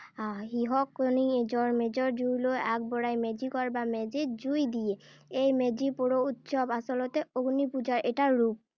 হাঁহ কণী এযোৰ মেজিৰ জুইলৈ আগবঢ়াই মেজি ঘৰ বা মেজিত জুই দিয়ে। এই মেজি পোৰা উৎসৱ আচলতে অগ্নি পূজাৰ এটা ৰূপ।